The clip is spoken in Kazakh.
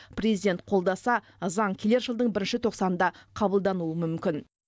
президент қолдаса заң келер жылдың бірінші тоқсанында қабылдануы мүмкін